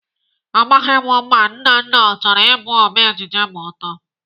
Amaghị m ma Nnanna ọ chọrọ ịbụ Ome ejije ma ọ too.